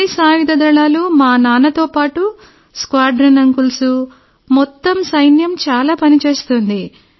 అన్ని సాయుధ దళాలు మా నాన్నతో పాటు స్క్వాడ్రన్ అంకుల్స్ మొత్తం సైన్యం చాలా పని చేస్తోంది